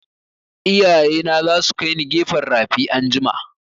Iyaye na za su kaini gefen rafi anjima